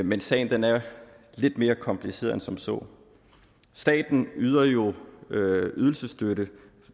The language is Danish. men sagen er lidt mere kompliceret end som så staten yder jo ydelsesstøtte